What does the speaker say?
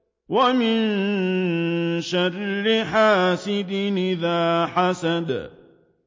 وَمِن شَرِّ حَاسِدٍ إِذَا حَسَدَ